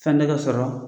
Fɛn dɔ ka sɔrɔ